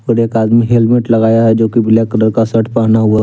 और एक आदमी हेलमेट लगाया हैजो की ब्लैक कलर का शर्ट पहना हुआ--